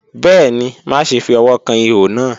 Bẹẹni, maṣe fi ọwọ kan iho naa.